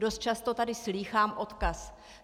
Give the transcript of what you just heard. Dost často tady slýchám odkaz.